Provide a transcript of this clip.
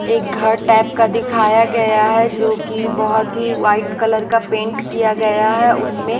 एक घर टाइप का दिखाया गया हैजो कि बहुत ही वाइट कलर का पेंट किया गया है उसमें--